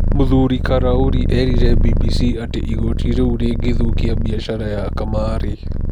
Mũthuri Karauri eerire BBC atĩ igooti rĩu rĩngĩthũkia biacara ya kamariĩ .